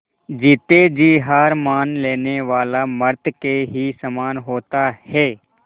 जीते जी हार मान लेने वाला मृत के ही समान होता है